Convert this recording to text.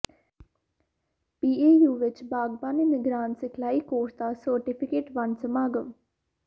PAU ਵਿਚ ਬਾਗਬਾਨੀ ਨਿਗਰਾਨ ਸਿਖਲਾਈ ਕੋਰਸ ਦਾ ਸਰਟੀਫਿਕੇਟ ਵੰਡ ਸਮਾਗਮ